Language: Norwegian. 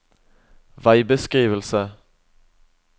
veibeskrivelse